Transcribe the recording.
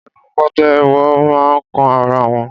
Ẹnu pàtẹ́wọ́ máa ń kan ara wọn.